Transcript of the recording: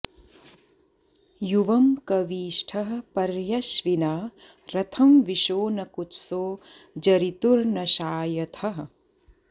युवं कवी ष्ठः पर्यश्विना रथं विशो न कुत्सो जरितुर्नशायथः